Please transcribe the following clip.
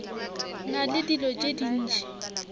na le dilo tše dintši